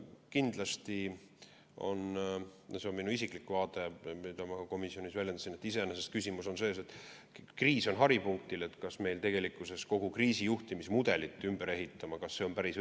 Kindlasti on küsimus selles – see on minu isiklik vaade, mida ma ka komisjonis väljendasin –, et kriis on praegu haripunktis ja kas on päris õige hetk kogu kriisijuhtimismudelit ümber ehitama hakata.